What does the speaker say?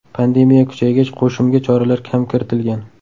Pandemiya kuchaygach, qo‘shimga choralar ham kiritilgan.